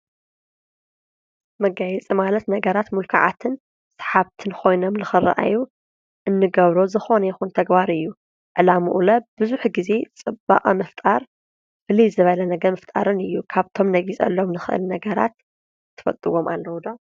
መጋይፂ ማለት ነገራት ምልኩዓትን ሰሓብትን ኾይኖም ልኽረኣዩ እንገብሮ ዝኾነ ይኹን ተግባር እዩ፡፡ ዕላምኡ ለ ብዙሕ ጊዜ ጽባቐ ምፍጣር ፍለይ ዝበለ ነገር ምፍጣርን እዩ፡፡ ካብቶም ነጊፀሎም ንኽእል ነገራት ትፈጥዎም ኣለዉ ዶ?